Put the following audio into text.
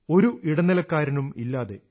ഒരു ഇടനിലക്കാരനുമില്ലാതെ